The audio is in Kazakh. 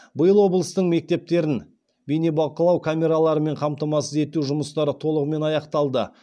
биыл облыстың мектептерін бейнебақылау камераларымен қамтамасыз ету жұмыстары толығымен аяқталды